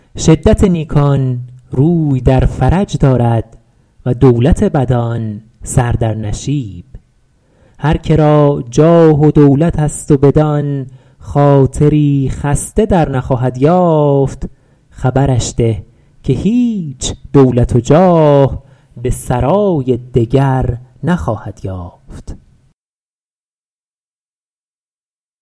شدت نیکان روی در فرج دارد و دولت بدان سر در نشیب هر که را جاه و دولت است و بدان خاطری خسته در نخواهد یافت خبرش ده که هیچ دولت و جاه به سرای دگر نخواهد یافت